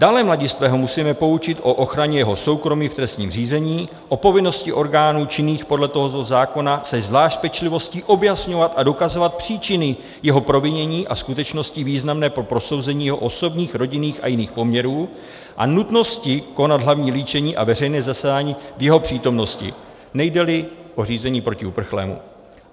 Dále mladistvého musíme poučit o ochraně jeho soukromí v trestním řízení, o povinnosti orgánů činných podle tohoto zákona se zvlášť pečlivostí objasňovat a dokazovat příčiny jeho provinění a skutečnosti významné pro posouzení jeho osobních, rodinných a jiných poměrů a nutnosti konat hlavní líčení a veřejné zasedání v jeho přítomnosti, nejde-li o řízení proti uprchlému.